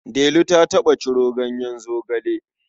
Delu ta taɓa ciro ganyen zogale.